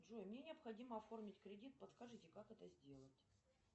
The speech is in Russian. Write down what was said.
джой мне необходимо оформить кредит подскажите как это сделать